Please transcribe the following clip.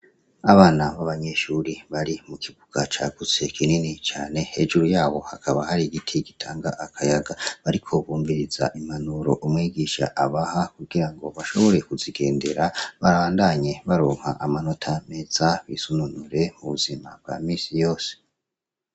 Abana b'abanyeshure bari mu kibuga cagutse kinini cane, hejuru yabo hakaba hari igiti gitanga akayaga. Bariko bumviriza impanuro umwigisha abaha kugira ngo bashobore kuzigendera, babandanye baronka amanota meza bisununure mu buzima bwa minsi yose.